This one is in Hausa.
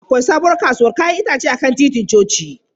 Akwai sabuwar kasuwar 'ya'yan itace a kan titin coci.